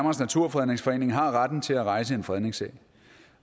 naturfredningsforening har retten til at rejse en fredningssag